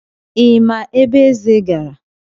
Ị ma ebe Eze gara?